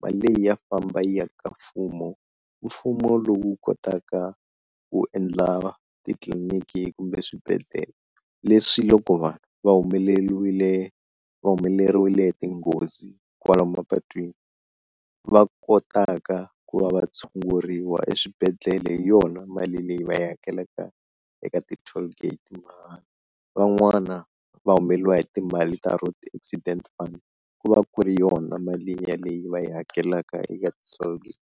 mali leyi ya famba yi ya ka mfumo, mfumo lowu kotaka ku endla titliliniki kumbe swibedhlele leswi loko vanhu va humeleliwile va humelerile hi tinghozi kwala mapatwini va kotaka ku va va tshunguriwa eswibedhlele hi yona mali leyi va yi hakelaka eka ti-tallgate, van'wana va humeleriwa hi timali ta road accident fund ku va ku ri yona mali ya leyi va yi hakelaka eka ti-tollgate.